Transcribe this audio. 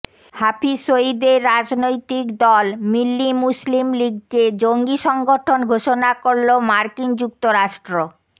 হাফিজ সইদের রাজনৈতিক দল মিল্লি মুসলিম লিগকে জঙ্গি সংগঠন ঘোষণা করল মার্কিন যুক্তরাষ্ট্র